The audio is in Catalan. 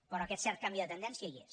però aquest cert canvi de tendència hi és